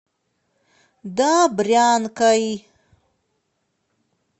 добрянкой